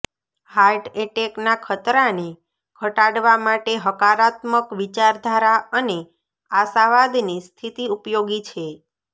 heart એટેકના ખતરાને ઘટાડવા માટે હકારાત્મક વિચારધારા અને આશાવાદની સ્થિતિ ઉપયોગી છે